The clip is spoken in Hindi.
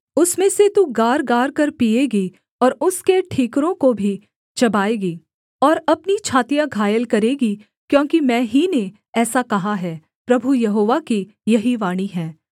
उसमें से तू गारगारकर पीएगी और उसके ठीकरों को भी चबाएगी और अपनी छातियाँ घायल करेगी क्योंकि मैं ही ने ऐसा कहा है प्रभु यहोवा की यही वाणी है